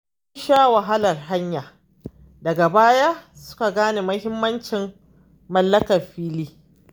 Sun sha wahalar haya, daga baya suka gane muhimmancin mallakar fili.